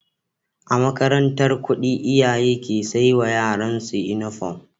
A makarantar kudi iyaye ke saiwa yaran su inufom